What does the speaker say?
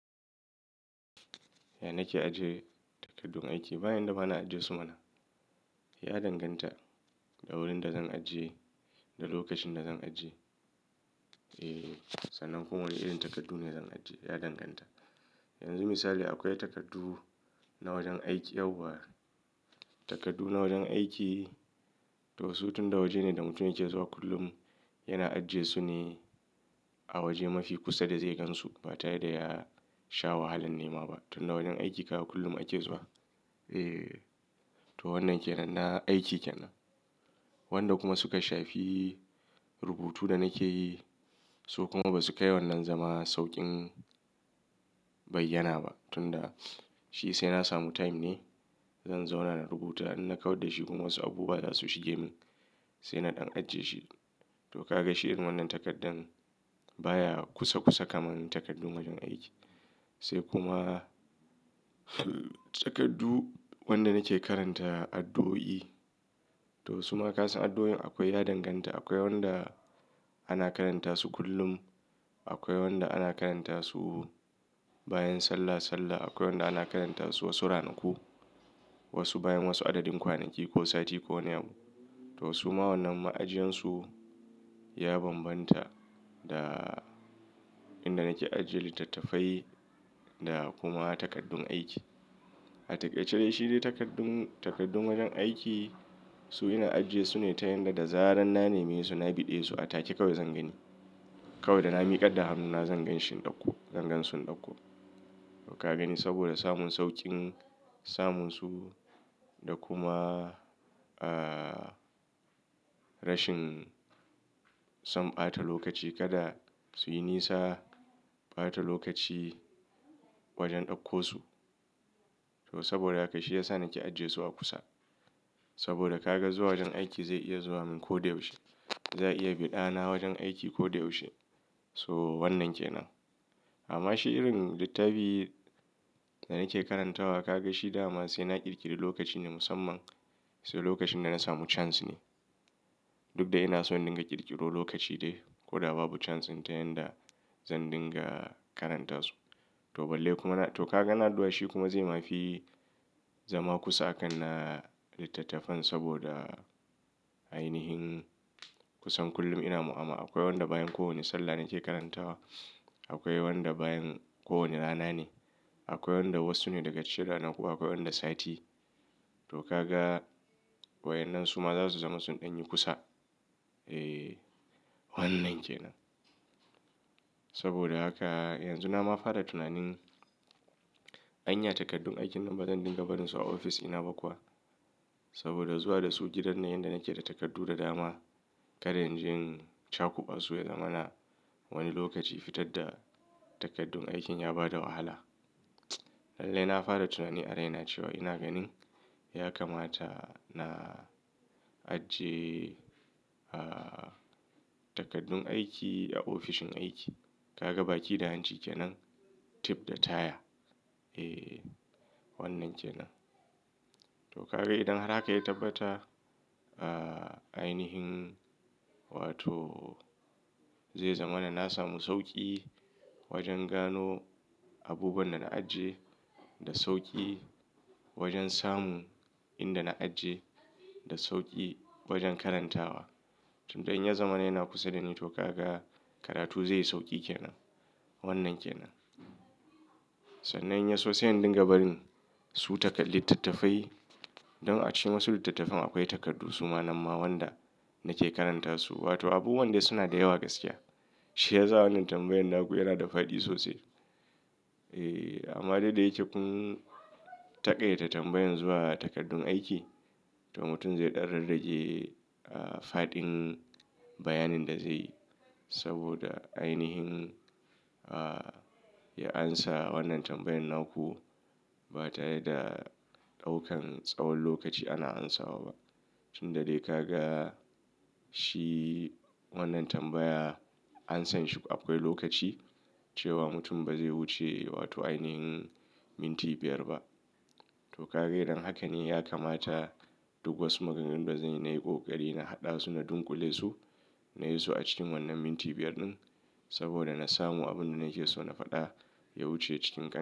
Ya nake aje takaddun aiki ba yanda ba na ajje su mana. Ya danganta da wurin da zan ajiye da lokacin da zan ajiye. Eh, sannan kuma wane irin takaddu ne zan ajiye, ya danganta. Yanzu misali akwai takaddu na wajen aiki yau wa. Takaddu na wajen aiki to su tunda waje ne da mutum yake zuwa kullum yana ajje su ne a waje mafi kusa da zai gan su ba tare da ya sha wahalan nema ba. Tun da wajen aiki ka ga kullum ake zuwa. Eh, to wannan ke nan, na aiki ke nan. Wanda kuma suka shafi rubutu da nike yi su kuma ba su kai wannan zama sauƙin bayyana ba. Tun da shi sai na samu time ne zan zauna na rubuta in na kawar da shi kuma wasu abubuwa za su shige min sai na ɗan ajje shi. To ka ga shi irin wannan takaddan baya kusa kusa kaman takaddun wajen aiki. Sai kuma takaddu wanda nake karanta addu'o'i to suma ka san addu'o'in akwai ya danganta. Akwai wanda ana karanta su kullum, akwai wanda ana karanta su bayan sallah sallah, akwai wanda ana karanta su wasu ranaku wasu bayan wasu adadin kwanaki ko sati ko wani abu. To su ma wannan ma'ajiyansu ya bambanta da inda nake ajiye littattafai da kuma takaddun aiki. Taƙaice dai shi dai takaddun, takaddun wajen aiki su ina ajje su ne ta yanda da zarar na nemi su na biɗe su a take kawai zan gani. Kawai da na miƙad da hannuna zan gan shi, zan gan su in ɗauko to ka gani saboda samun sauƙin samun su da kuma, ah, rashin sam ɓata lokaci kada su yi nisa, ɓata lokaci wajen ɗauko su. To saboda haka shi ya sa nake ajje su a kusa. Saboda ka ga zuwa wajen aiki zai iya zuwa min ko da yaushe. Za'a iya biɗa na wajen aiki ko da yaushe. So wannan ke nan. Amma shi irin littafi da nake karantawa ka ga shi dama sai na ƙirƙiri lokaci ne musamman. Sai lokacin da na samu chance ne. Duk da ina so in dinga ƙirƙiro lokaci dai koda babu chance ta yanda zan dinga karanta su. To balle kuma na, to ka na addu'an shi kuma zai mafi zama kusa akan na littattafan saboda ainihin kusan kullum ina mu'a. Akwai wanda bayan kowane sallah nake karantawa, akwai wanda bayan kowane rana ne, akwai wanda wasu ne daga cire ranaku akwai wanda sati. To ka ga wa ƴan nan suma za su zama sun ɗan yi kusa. E, wannan ke nan. Saboda haka yanzu na ma fara tunanin anya takaddun aikin nan bazan dinga barin su a ofis ɗina ba kuwa. Saboda zuwa da su gidan nan yanda nake da takaddu da dama. Kada inje cakuɓa su ya zama na wani lokaci fitad da takaddun aikin ya bada wahala. Lallai na fara tunani a raina cewa ina ganin ya kamata na ajiye, ah, takaddun aiki a ofishin aiki. Ka ga baki da hanci ke nan, tif da taya. E, wannan ke nan. To ka ga idan har haka ya tabbata, ah, ainihin wato zai zama na na samu sauƙi wajen gano abubuwan da na ajiye da sauƙi wajen samu inda na ajiye da sauƙi wajen karantawa. Idan ya zama na yana kusa da ni to ka ga karatu zai yi sauƙi ke nan. Wannan ke nan. Sannan in ya so sai in dinga barin su takar littattafai don a cikim wasu littattafan akwai takaddu suma nan ma wanda nake karanta su wato abubuwan dai suna da yawa gaskiya. Shi ya sa wannan tambayan naku yana da faɗi sosai. E amma dai da yake kun taƙaita tambayan zuwa takaddun aiki to mutum zai ɗan rarrage ah faɗin bayanin da zai yi. Saboda ainihin, ah, ya amsa wannan tambayan naku ba tare da ɗaukan tsawon lokaci ana amsawa ba. Tun da dai ka ga shi wannan tambaya amsan shi akwai lokaci cewa mutum ba zai wuce wato ainihin minti biyar ba. To ka ga idan haka ne ya kamata duk wasu maganganun da zan yi na yi ƙoƙari na haɗa su na dunƙule su na yi su a cikin wannan minti biyar ɗin saboda na samu abun da nake so na faɗa ya wuce cikin kai.